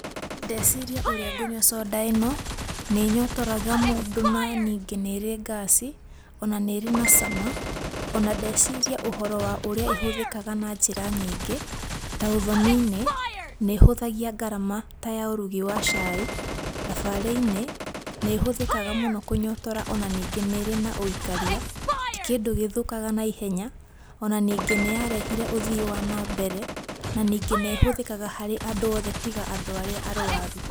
Ndeciria ũrĩa ngũnyua soda ĩno. Nĩ ĩnyotoraga mũndũ na ningĩ nĩ ĩrĩ ngaci. Ona nĩ ĩrĩ na cama. Ona ndeciria ũhoro wa ũrĩa ĩhũthĩkaga na njĩra nyingĩ. Ta ũthoni-inĩ, nĩ ĩhũthagia ngarama ta ya ũrugi wa cai. Thabarĩ-inĩ, nĩ ĩhũthĩkaga mũno kũnyotora, ona ningĩ nĩ ĩrĩ na ũikaria, ti kĩndũ gĩthũkaga naihenya. Ona ningĩ nĩ yarehire ũthii wa nambere. Na ningĩ nĩ ĩhũthĩkaga harĩ andũ othe tiga andũ arĩa arũaru.